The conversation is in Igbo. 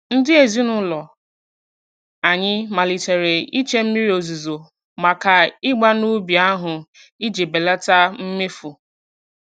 Ndị ezinụụlọ anyị malitere iche mmiri ozuzo maka ịgba n'ubi ahụ iji belata mmefu.